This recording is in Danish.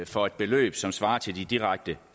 for et beløb som svarer til de direkte